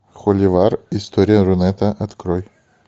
холивар история рунета открой